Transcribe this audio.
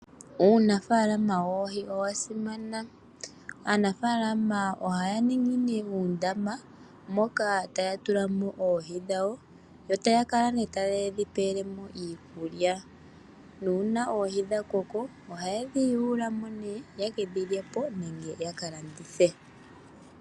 Uunafaalama woohi owa simana. Aanafaalama ohaya ningi nee uuundama moka taya tula mo oohi dhawo, yo taya kala nee tayedhi pelemo iikulya. Nuuna oohi dha koko, oha yedhi yulumo nee yekedhi lyepo, nenge ya kalandithe.